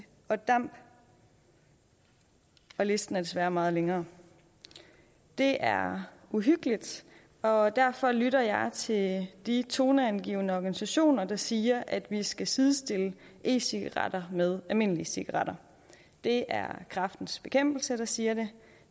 og damp og listen er desværre meget længere det er uhyggeligt og derfor lytter jeg til de toneangivende organisationer der siger at vi skal sidestille e cigaretter med almindelige cigaretter det er kræftens bekæmpelse der siger det